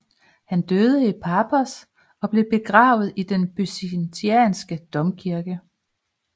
Han døde i Paphos og blev begravet i den byzantinske domkirke